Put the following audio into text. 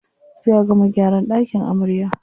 Jiya aka gama gyaran ɗakin amarya.